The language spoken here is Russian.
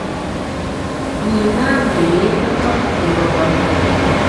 нина андреевна гафурова